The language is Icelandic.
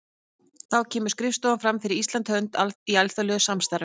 Þá kemur skrifstofan fram fyrir Íslands hönd í alþjóðlegu samstarfi.